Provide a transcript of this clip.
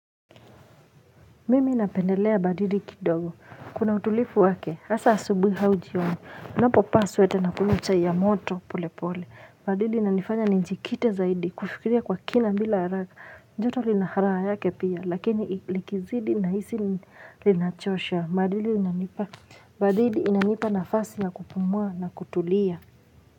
Mimi ninapendelea baridi kidogo. Kuna utulifu wake. Hasa asubuhi au jioni. Ninaposema vaa sweta na kumichai ya moto pole pole. Baridi inanifanya ninjikite zaidi. Kufikiria kwa kina bila haraka. Joto linaharaa yake pia. Lakini likizidi nahisi linachosha. Baridi inanipa nafasi na kupumua na kutulia.